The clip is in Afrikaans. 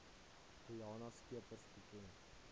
riana scheepers bekend